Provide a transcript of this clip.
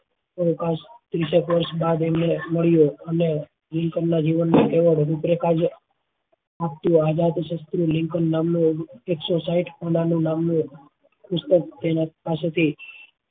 અવકાશ ત્રીસ એક વર્ષ બાદ એમને મળ્યો અને લીન્કાન્ન ના જીવન નાં આઝાદ લિંકન નામનો એકસો સાહીંઠ પુસ્તક જેના પાસે થી